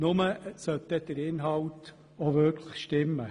Nur sollte dessen Inhalt dann auch wirklich stimmen.